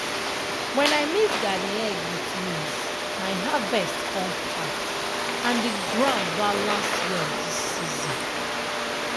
when i mix garden egg with maize my harvest come fat and the ground balance well this season.